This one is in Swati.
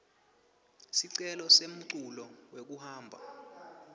sicelo semculu wekuhamba